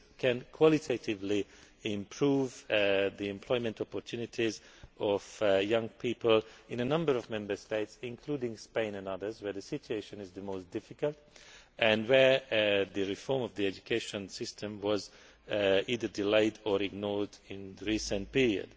This can qualitatively improve the employment opportunities of young people in a number of Member States, including Spain and others where the situation is the most difficult and where the reform of the education system was either delayed or ignored in the recent period.